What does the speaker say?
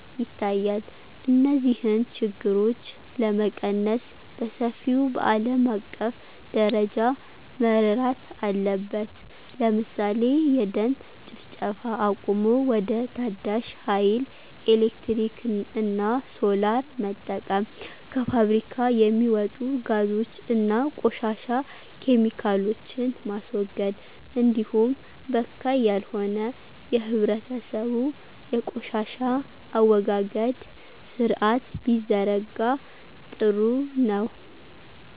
ይታያል። እነዚህን ችግሮች ለመቀነስ በሰፊው በአለም አቀፍ ደረጃ መረራት አለበት ለምሳሌ የደን ጭፍጨፋ አቁሞ ወደ ታዳሽ ሀይል ኤሌክትሪክ እና ሶላር መጠቀም። ከፋብሪካ የሚወጡ ጋዞች እና ቆሻሻ ኬሚካሎችን ማስወገድ እንዲሁም በካይ ያልሆነ የህብረተሰቡ የቆሻሻ አወጋገድ ስርአት ቢዘረጋ ጥሩ ነው።